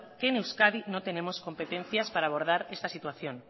que en euskadi no tenemos competencias para abordar esta situación